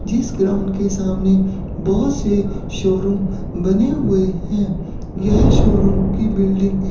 जिस ग्राउंड के सामने बहोत से शोरूम बने हुए हैं यह शोरूम की बिल्डिंग --